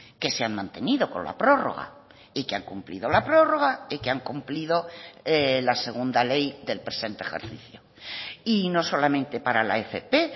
que se han mantenido con la prórroga y que han cumplido la prórroga y que han cumplido la segunda ley del presente ejercicio y no solamente para la fp